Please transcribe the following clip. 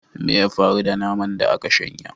Me ya faru da naman da aka shanya?